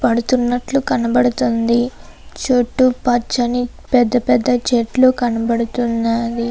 పడుతూ ఉన్నట్లు కనబడుతున్నాను. అలానే పెద్ద పెద్ద చెట్లు కనబడుతూ ఉన్నాయి.